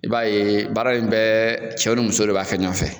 I b'a ye baara in bɛɛ cɛw ni musow de b'a kɛ ɲɔgɔn fɛ.